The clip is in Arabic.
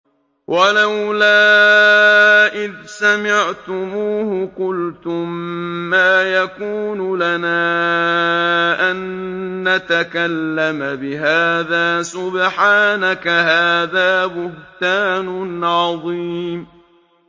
وَلَوْلَا إِذْ سَمِعْتُمُوهُ قُلْتُم مَّا يَكُونُ لَنَا أَن نَّتَكَلَّمَ بِهَٰذَا سُبْحَانَكَ هَٰذَا بُهْتَانٌ عَظِيمٌ